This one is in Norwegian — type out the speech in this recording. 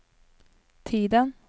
tiden